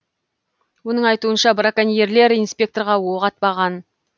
оның айтуынша браконьерлер инспекторға оқ атпаған